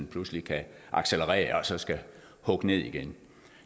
pludselig kan accelerere og så skal hugge ned igen